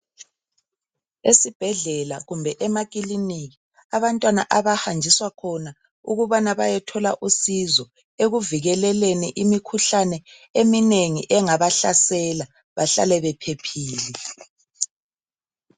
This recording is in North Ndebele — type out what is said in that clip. Esibhedlela kumbe emakliniki abantwana abahanjiswa khona ukubana bayethola usizo ekuvikeleleni imikhuhlane eminengi engabahlasela bahlale bephephile.